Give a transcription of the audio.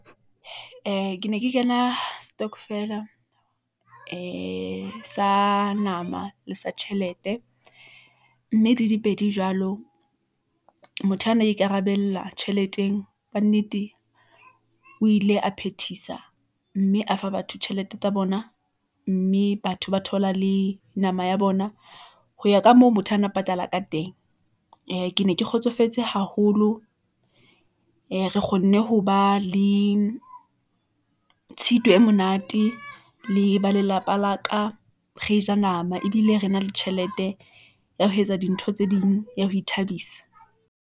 Ee, ke ne ke kena stokvel-a ee sa nama le sa tjhelete , mme di dipedi jwalo motho ana ikarabella tjheleteng kannete o ile a phethisa , mme a fa batho tjhelete tsa bona , mme batho ba thola le nama ya bona . Ho ya ka moo motho a na o patala ka teng , ee ke ne ke kgotsofetse haholo , ee re kgonne ho ba le tshitwe e monate , le ba lelapa la ka , re ja nama ebile re na le tjhelete , ya ho etsa dintho tse ding, ya ho ithabisa.